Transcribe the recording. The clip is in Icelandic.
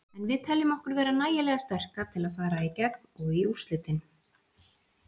En við teljum okkur vera nægilega sterka til að fara í gegn og í úrslitin.